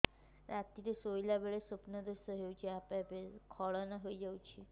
ରାତିରେ ଶୋଇଲା ବେଳେ ସ୍ବପ୍ନ ଦୋଷ ହେଉଛି ଆପେ ଆପେ ସ୍ଖଳନ ହେଇଯାଉଛି